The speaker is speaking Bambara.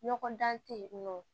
Ɲɔgɔn dan tɛ yen nɔ